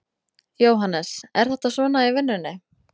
Jóhannes: Er þetta svona í vinnunni?